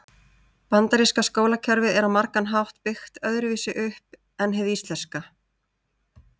Bandaríska skólakerfið er á margan hátt byggt öðru vísu upp en hið íslenska.